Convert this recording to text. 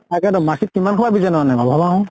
তাকেটো মাখি কিমান খোপা বিজাণু আনে